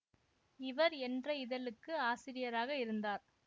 இவர் என்ற இதழுக்கு ஆசிரியராக இருந்தார்